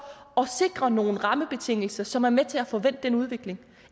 at sikre nogle rammebetingelser som er med til at få vendt den udvikling